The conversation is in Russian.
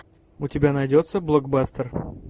у тебя найдется блокбастер